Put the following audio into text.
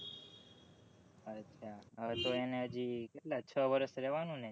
અછા તો એને હજી કેટલા છ વર્ષ રેહવાનું નું ને